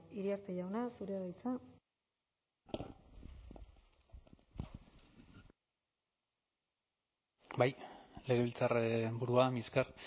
iriarte jauna zurea da hitza bai legebiltzarraren burua mila esker